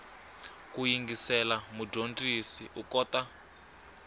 ku yingisela mudyondzi u kota